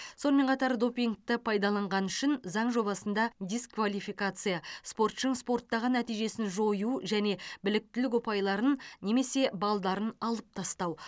сонымен қатар допингті пайдаланғаны үшін заң жобасында дисквалификация спортшының спорттағы нәтижесін жою және біліктілік ұпайларын немесе балдарын алып тастау